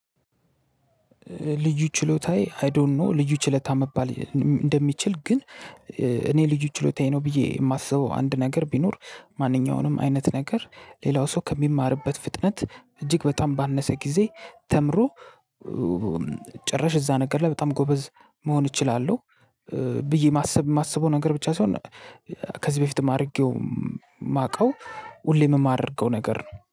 ልዩ ችሎታዬ አይ ዶንት ኖው ልዩ ችሎታ መባል እንደሚችል ግን እኔ ልዩ ችሎታዬ ነው ብዬ የማስበው አንድ ነገር ቢኖር ማንኛውንም አይነት ነገር ሌላው ሰው ከሚማርበት ፍጥነት እጅግ በጣም ባነሰ ጊዜ ተምሮ ጭራሽ እዛ ነገር ላይ በጣም ጎበዝ መሆን እችላለሁ። ብዬ ማሰብ የማስበው ነገር ብቻ ሳይሆን ከዚህ በፊትም አድርጌው የማውቀው ሁሌም የማደርገው ነገር ነው።